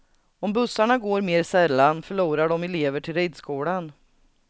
Om bussarna går mer sällan förlorar de elever till ridskolan.